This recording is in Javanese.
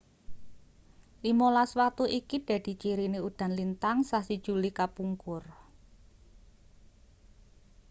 limolas watu iki dadi cirine udan lintang sasi juli kapungkur